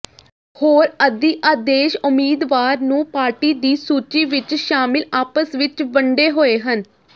ਹੋਰ ਅਧਿਆਦੇਸ਼ ਉਮੀਦਵਾਰ ਨੂੰ ਪਾਰਟੀ ਦੀ ਸੂਚੀ ਵਿੱਚ ਸ਼ਾਮਿਲ ਆਪਸ ਵਿੱਚ ਵੰਡੇ ਹੋਏ ਹਨ